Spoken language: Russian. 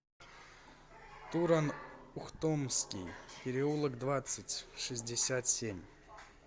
туран ухтомский переулок двадцать в шестьдесят семь